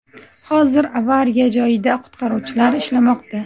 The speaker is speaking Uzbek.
Hozir avariya joyida qutqaruvchilar ishlamoqda.